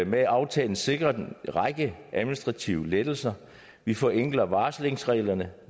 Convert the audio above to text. med aftalen sikret en række administrative lettelser vi forenkler varslingsreglerne